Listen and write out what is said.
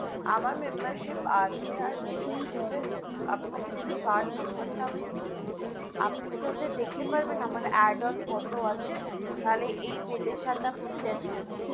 আমার membership আছে, আর membership এর আপনাকে যদি card number তা আমি বলি, আপনি কি দেখতে পারবেন আমার add on কত আছে, তাহলে এই bill এর সাথে আপনি less করুন,